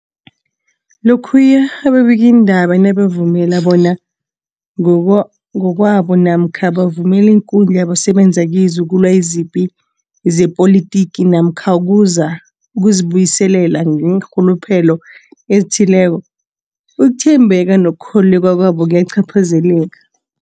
Lokhuya ababikiindaba nabazivumela bona ngokwabo namkha bavumele iinkundla abasebenza kizo ukulwa izipi zepolitiki namkha ukuzi buyiselela ngeenrhuluphelo ezithileko, ukuthembeka nokukholweka kwabo kuyacaphazeleka.